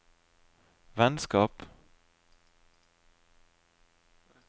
vennskap